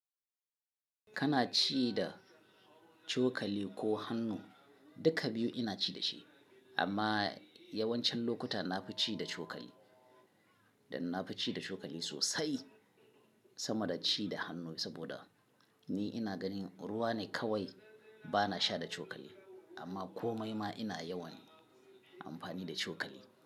Kana ci da cokali ko hannu? Duka biyu ina ci da shi, amma yawancin lokuta na fi ci da cokali dan na fi ci da cokali sosai sama da ci da hannu. Saboda ni ina ganin ruwa ne kawai, ba na sha da cokali, amma komai ma ina yawan amfani da cokali.